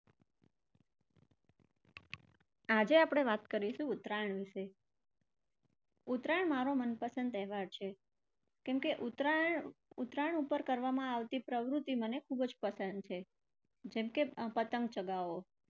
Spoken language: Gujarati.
આજે આપણે વાત કરીશું ઉત્તરાયણ વિશે ઉત્તરાયણ મારો મનપસંદ તહેવાર છે. કેમકે ઉત્તરાયણ, ઉત્તરાયણ પર કરવામાં આવતી પ્રવૃત્તિ મને ખુબ જ પસંદ છે જેમકે પતંગ ચગાવવો.